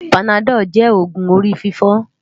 Pánádòlú jè ógún óri fifò